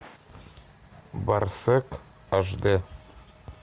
барсек аш д